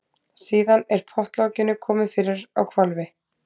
Síðan er pottlokinu komið fyrir á hvolfi.